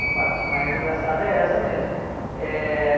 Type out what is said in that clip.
A parte mais engraçada é essa mesmo. Eh